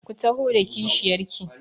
Ku taho da kishiyar ki!